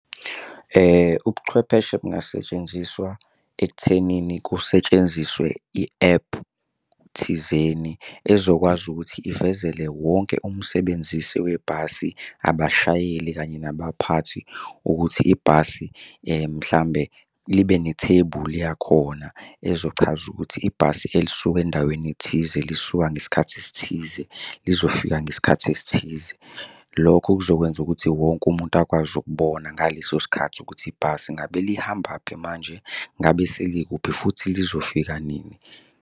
Ubuchwepheshe bungasetshenziswa ekuthenini kusetshenziswe i-ephu thizeni ezokwazi ukuthi ivezele wonke umsebenzisi webhasi, abashayeli kanye nabaphathi ukuthi ibhasi mhlambe ibe ne-table yakhona ezochaza ukuthi ibhasi elisuka endaweni ethize lisuka ngesikhathi esithize, lizofika ngesikhathi esithize. Lokho kuzokwenza ukuthi wonke umuntu akwazi ukubona ngaleso sikhathi ukuthi ibhasi ngabe lihambaphi manje, ngabe selikuphi futhi lizofika nini.